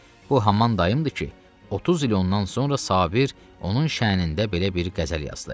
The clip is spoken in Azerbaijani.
Bu haman dayımdır ki, 30 il ondan sonra Sabir onun şəhnində belə bir qəzəl yazdı.